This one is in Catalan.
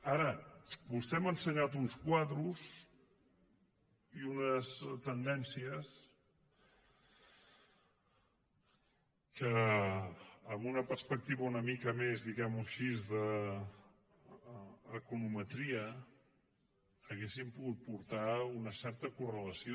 ara vostè m’ha ensenyat uns quadres i unes tendències que amb una perspectiva una mica més diguemho així d’econometria haurien pogut portar una certa correlació